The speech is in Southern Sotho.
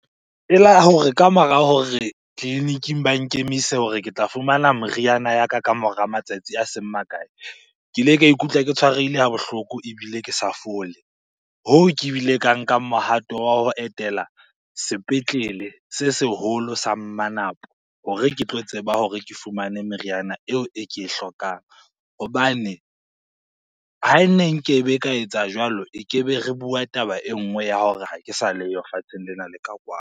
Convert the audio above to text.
Kamora hore tleliniking ba nkemise hore ke tla fumana moriana ya ka kamora matsatsi a seng makae, ke ile ka ikutlwa ke tshwarehile ha bohloko ebile ke sa fole. Hoo, ke bileng ka nka mohato wa ho etela sepetlele se seholo sa Mmanapo hore ke tlo tseba hore ke fumane meriana eo e ke e hlokang. Hobane hane nkebe ka etsa jwalo, e ke be re bua taba e nngwe ya hore ha ke sa leyo lefatsheng lena le ka kwano.